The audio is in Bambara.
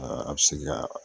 a bɛ se ka